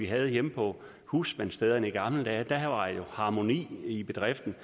havde det hjemme på husmandsstederne i gamle dage for der var jo harmoni i bedriften